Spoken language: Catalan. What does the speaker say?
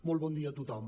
molt bon dia a tothom